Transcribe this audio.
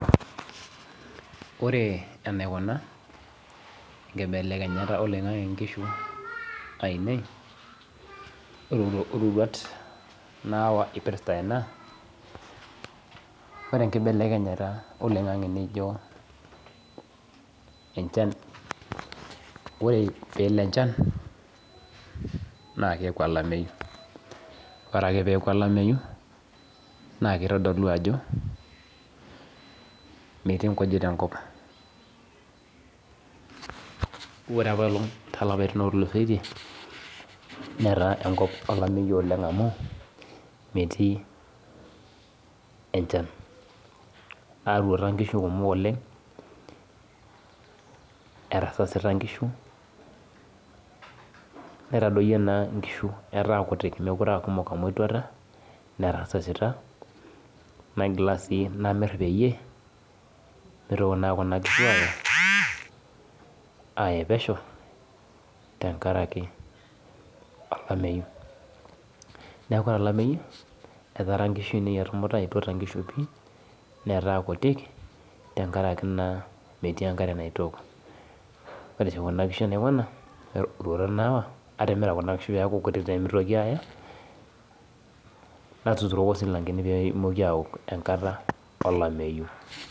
Orebenaikuna enkibelekenyata oloingangi nkishubainei ororuat nayawa irpirta ena, ore enkibeleknyata oloingangi enchan ore pelo enchan na keaku olameyu ore ake peaku olameyu na kitodolu ajo metii nkujit enkop ore apailong tolapaitin otulusoitie netaa enkop olameyu amu enchan atuata nkishu kumok oleng atasasita nkishu, netadoitie na nkishu oleng ataa kutik amu etuata netasasita namir peyie mitoki kuna kishu aye pesho tenkaraki olameyu neaku ore olameyu etaara nkishu ainei etumuta netaa kuti tengaraki metii enkare naitook ore roruat nayawa atimira kuna kishu peaku kutik pemitoki aye natuturoki silankeni pemoki aaok enkata olameyu.